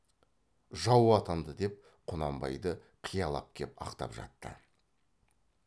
жау атанды деп құнанбайды қиялап кеп ақтап жатты